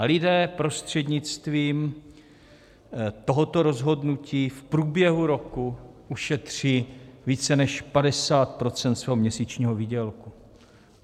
A lidé prostřednictvím tohoto rozhodnutí v průběhu roku ušetří více než 50 % svého měsíčního výdělku.